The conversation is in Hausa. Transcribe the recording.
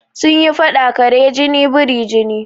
Sun yi faɗa "kare jini biri jini"